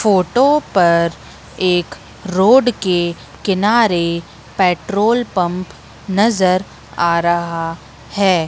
Photo पर एक road के किनारे पेट्रोल पंप नजर आ रहा है।